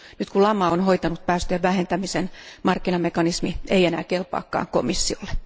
Nyt kun lama on hoitanut päästöjen vähentämisen, markkinamekanismi ei enää kelpaakaan komissiolle.